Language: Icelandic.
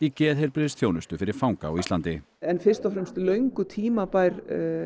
geðheilbrigðisþjónustu fyrir fanga á Íslandi en fyrst og fremst löngu tímabær